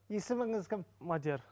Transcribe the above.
есіміңіз кім мадияр